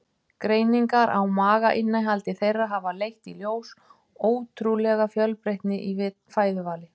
Greiningar á magainnihaldi þeirra hafa leitt í ljós ótrúlega fjölbreytni í fæðuvali.